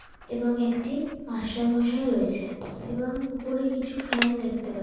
এবং একটি মাস্টারমশাই রয়েছে এবং উপরে কিছু ফ্যান দেখতে পাচ --